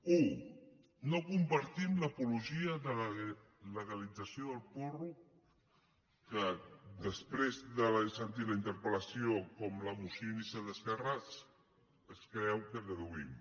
u no compartim l’apologia de la legalització del porro que després d’haver sentit la interpelmoció inicial d’esquerra es creu que deduïm